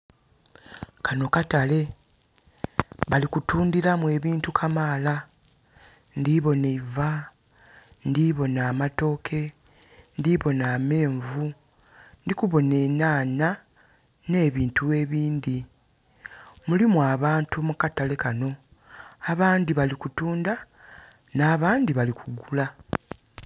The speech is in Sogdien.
Kano katale bali kutundiramu ebintu kamala. Ndiboona eiva, ndiboona amatooke, ndiboona amenvu, ndikuboona enhanha ne bintu ebindhi. Mulimu abantu mu katale kano. Abandi bali kutunda na bandi bali kugula.